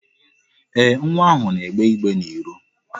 Ee, nwa ahụ na-egbe igbe n'iro.